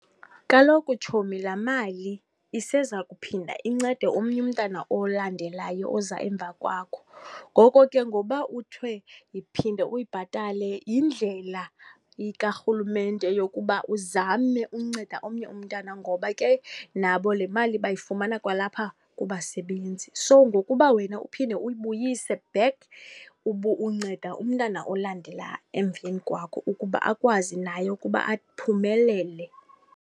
Kaloku tshomi, laa mali iseza kuphinda incede omnye umntana olandelayo oza emva kwakho. Ngoko ke ngoba kuthiwe phinda uyibhatale yindlela karhulumente yokuba uzame unceda omnye umntana ngoba ke nabo le mali bayifumana kwalapha kubasebenzi. So, ngokuba wena uphinde uyibuyise back, unceda umntana olandela emveni kwakho ukuba akwazi naye ukuba aphumelele.